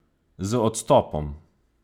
Z odstopom!